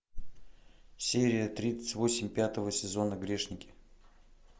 серия тридцать восемь пятого сезона грешники